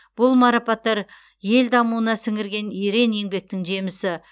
бұл марапаттар ел дамуына сіңірген ерен еңбектің жемісі